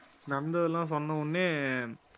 நடந்ததெல்லாம் சொன்ன உடனே